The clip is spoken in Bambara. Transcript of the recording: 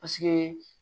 Paseke